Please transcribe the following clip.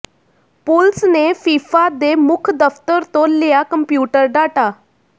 ਪੁਲਸ ਨੇ ਫੀਫਾ ਦੇ ਮੁੱਖ ਦਫ਼ਤਰ ਤੋਂ ਲਿਆ ਕੰਪਿਊਟਰ ਡਾਟਾ